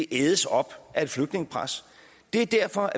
ædes op af et flygtningepres det er derfor